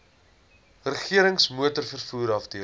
regerings motorvervoer afdeling